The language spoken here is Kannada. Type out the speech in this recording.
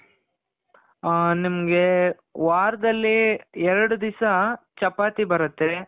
ಆ ನಿಮ್ಗೆ ವಾರದಲ್ಲಿ ಎರಡು ದಿಸ ಚಪಾತಿ ಬರುತ್ತೆ